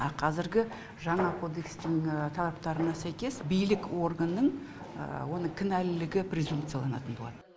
а қазіргі жаңа кодекстің талаптарына сәйкес билік органның оның кінәлілігі презумцияланатын болады